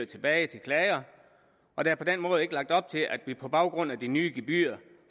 tilbage til klager og der er på den måde ikke lagt op til at vi på baggrund af de nye gebyrer